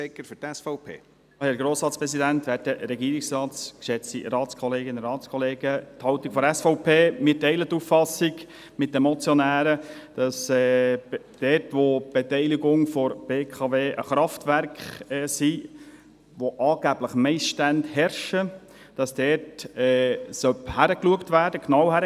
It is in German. Die SVP teilt die Auffassung mit den Motionären, dass dort, wo die Beteiligungen der BWK Kraftwerke betreffen, bei welchen angeblich Missstände herrschen, genau hingeschaut werden muss.